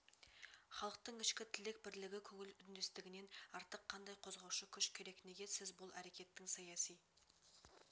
халықтың ішкі тілек бірлігі көңіл үндестігінен артық қандай қозғаушы күш керек неге сіз бұл әрекеттің саяси